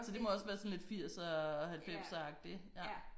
Så det må også være sådan lidt firser halvfemseragtigt ja